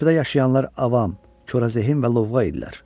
Körpüdə yaşayanlar avam, korazehin və lovğa idilər.